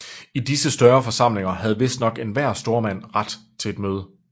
I disse større forsamlinger havde vistnok enhver stormand ret til at møde